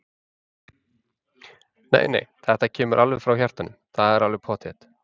Nei, nei, þetta kemur alveg frá hjartanu, það er alveg pottþétt.